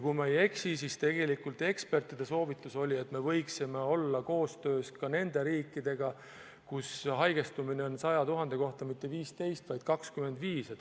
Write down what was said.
Kui ma ei eksi, siis ekspertide soovitus oli, et me võiksime olla koostöös ka nende riikidega, kus haigestumine on 100 000 inimese kohta mitte 15, vaid 25.